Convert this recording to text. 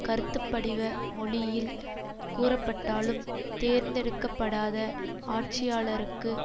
கருத்துப்படிவ மொழியில் கூறப்பட்டாலும் தேர்ந்தெடுக்க படாத ஆட்சியாளருக்கு